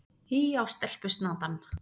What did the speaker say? Hí á stelpusnatann!